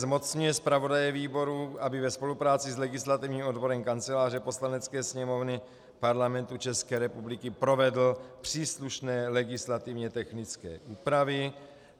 Zmocňuje zpravodaje výboru, aby ve spolupráci s legislativním odborem Kanceláře Poslanecké sněmovny Parlamentu České republiky provedl příslušné legislativně technické úpravy.